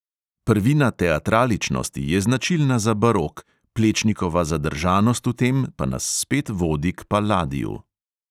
Prvina teatraličnosti je značilna za barok, plečnikova zadržanost v tem pa nas spet vodi k palladiu.